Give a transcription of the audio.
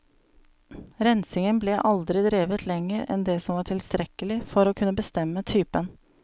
Rensingen ble aldri drevet lenger enn det som var tilstrekkelig for å kunne bestemme typen.